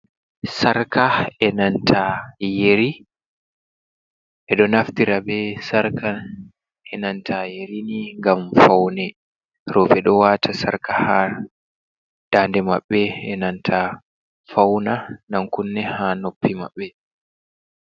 Sarka e nanta yeri roɓe ɓeɗo naftira be sarka e nanta yerini ngam faune, roɓe dowata sarka ha dade maɓɓe enanta fauna ɗan kunne ha noppi maɓɓe.